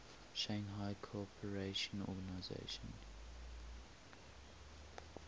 shanghai cooperation organization